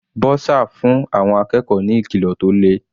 Bursar fún àwọn akẹ́kọ̀ọ́ ní ìkìlọ̀ tó le.